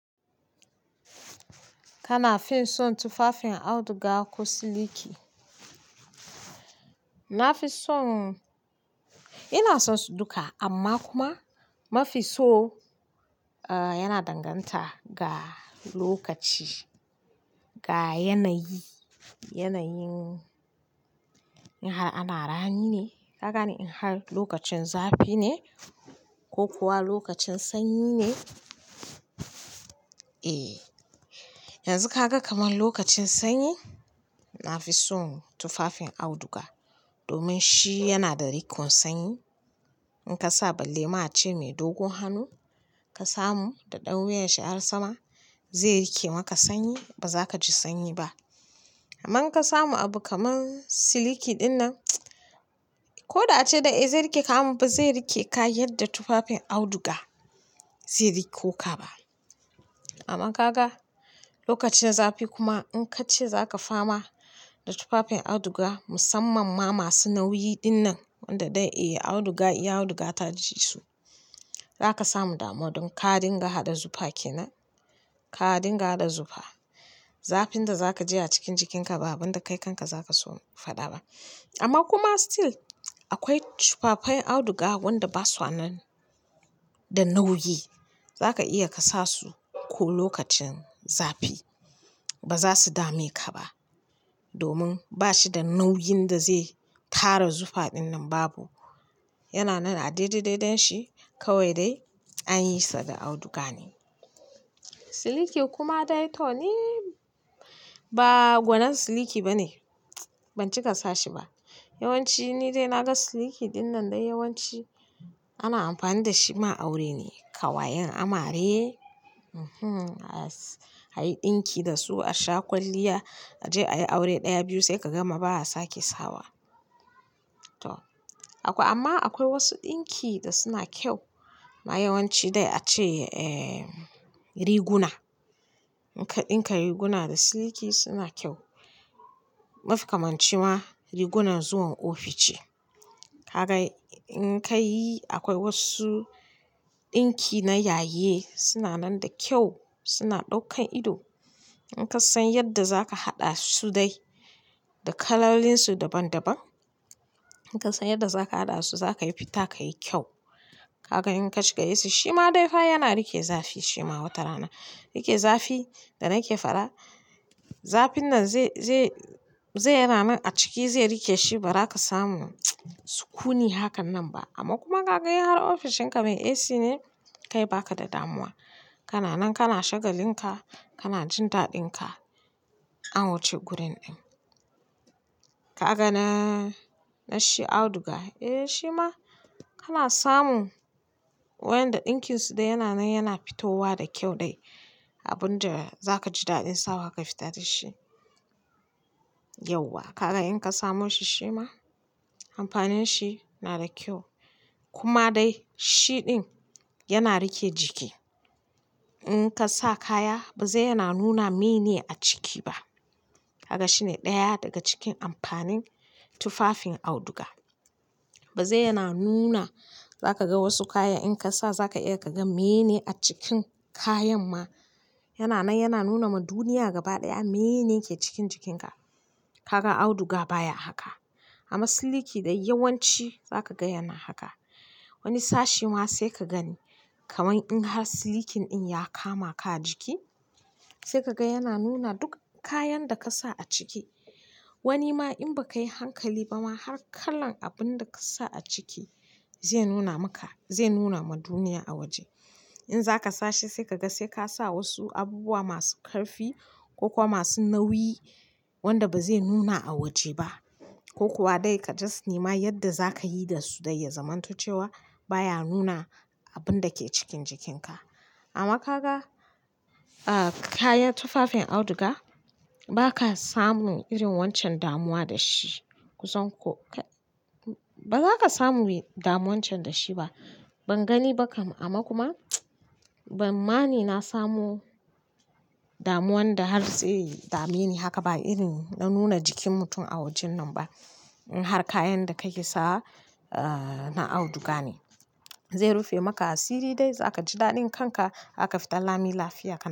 Kana fin son tufafin auduga ko siliki? Na fi son ina son su duka amma kuma mafi so, yana danganta ga lokaci, ga yanayi. Yanayin in har ana rani ne, ka gane in har lokacin zafi ne ko kuwa lokacin sanyi ne. Eh, yanzu ka ga kaman lokacin sanyi, na fi son tufafin auduga domin shi yana da riƙon sanyi. In ka sa balle ma ce mai dogon hannu ka samu da ɗan wuyan shi har sama, zai rike maka sanyi ba za ka ji sanyi ba. Amma in ka samu abu kaman siliki dinnan, ko da ace dai zai riƙe ka amma ba zai riƙe ka yadda tufafin auduga zai riƙo ka ba. Amma ka ga lokacin zafi kuma in ka ce za ka fama da tufafin auduga musamman ma masu nauyi dinnan wanda dai eh auduga, in auduga ta ji su, za ka samu damuwa. Don ka dinga haɗa zufa kenan, ka dinga haɗa zufa. Zafin da za ka ji a cikin jikinka ba abin da kai kanka za ka so faɗa ba. Amma kuma still akwai tufafai auduga wanda ba su nan da nauyi. Za ka iya ka sa su ko lokacin zafi ba za su dame ka ba domin ba shi da nauyin da zai tara zufa dinnan babu. Yana nan a daidai daidanshi kawai dai an yi sa da auduga ne. Siliki kuma dai to ni, ba gwanin siliki ba ne. Ban ci ka sa shi ba. Yawan ci ni dai na ga siliki dinnan dai yawan ci ana amfani da shi ma aure ne, ƙawayen amare. Hmmm! A yi ɗinki da su a sha kwalliya a je ayi aure ɗaya biyu sai ka gama ba a sake sawa. To akwai, amma akwai wasu ɗinki da suna kyau amma yawan ci dai a ce, eh, riguna. In ka ɗinka riguna da siliki suna kyau. Mafi kamanci ma rigunan zuwan ofishi. Ka ga in ka yi akwai wasu ɗinki na yayi suna nan da kyau, suna ɗaukan ido. In ka san yadda za ka haɗa su dai da kalolinsu daban daban, in ka san yadda za ka haɗa su za ka yi fita ka yi kyau. Kaka in ka shiga AC shi ma dai fa yana riƙe zafi shi ma wata rana. Riƙe zafi da nake faɗa, zafin nan zai, zai, zai yana nan a ciki zai riƙe shi ba za ka samu sukuni hakan nan ba. Amma kuma ka ga in har ofishin ka mai AC ne kai ba ka da damuwa. Kana nan kana shagalinka, kana jin daɗinka an wuce gurin ɗin. Ka ga na, na shi auduga, eh shi ma kana samu waƴcanda ɗinkinsu dai yana nan yana fitowa da kyau dai. Abun da za ka ji daɗin sawa ka fita da shi. Yauwa, kaga in ka samo shi shi ma amfanin shi na da kyau. Kuma dai shi ɗin yana rike jiki. In ka sa kaya ba zai yana nuna menene a ciki ba. Kaga shi ne ɗaya daga cikin amfanin tufafin auduga. Ba zai yana nuna za ka ga wasu kaya in ka sa za ka iya ka gan menene a cikin kayan ma. Yana nan yana nuna ma duniya gaba ɗaya menene ke cikin jikinka. Kaka auduga baya haka. Amma siliki dai yawan ci za ka ga yana haka. Wani sashi ma sai ka gani kaman in har silikin in ya kama ka a jiki, sai ka ga yana nuna duk kayan da ka sa a ciki. Wani ma in ba ka yi hankali ba ma har kalan abun da ka sa a ciki zai nuna maka, zai nuna ma duniya a waje. In za ka sa shi sai ka ga sai ka sa wasu abubuwa masu ƙarfi ko kuwa masu nauyi wanda ba zai nuna a waje ba. Ko kuwa dai ka just nema yadda za ka yi da su dai ya zamanto cewa baya nuna abun da ke cikin jikinka. Amma ka ga, ah, kayan tufafin auduga ba ka samu irin wancan damuwa da shi. Kusan ko kai, ba za ka samu damuwan can da shi ba. Ban gani ba kam amma kuma ban ma ni na samo damuwan da har zai dame ni haka ba irin na nuna jikin mutum a wajen nan ba. In har kayan da ka ke sawa, ah, na auduga ne. Zai rufe maka asiri dai za ka ji daɗin kanka aka fita lami lafiya ka.